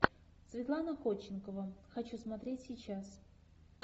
светлана ходченкова хочу смотреть сейчас